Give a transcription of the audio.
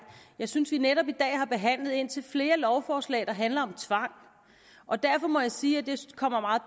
jeg synes vi netop i dag har behandlet indtil flere forslag der handler om tvang og derfor må jeg sige at det kommer meget